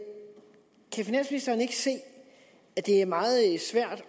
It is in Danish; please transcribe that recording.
se at det er meget svært at